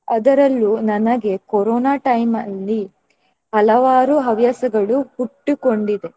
ಅದರಲ್ಲೂ ನನಗೆ corona time ಅಲ್ಲಿ ಹಲವಾರು ಹವ್ಯಾಸಗಳು ಹುಟ್ಟುಕೊಂಡಿದೆ.